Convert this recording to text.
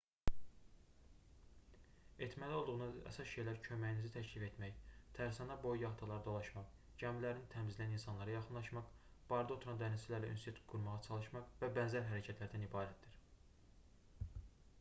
etməli olduğunuz əsas şeylər köməyinizi təklif etmək tərsanə boyu yaxtaları dolaşmaq gəmilərini təmizləyən insanlara yaxınlaşmaq barda oturan dənizçilərlə ünsiyyət qurmağa çalışmaq və bənzər hərəkətlərdən ibarətdir